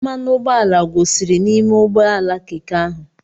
Mmanụ ụgbọala gwụsịrị n'ime ụgbọ ala Keke ahụ.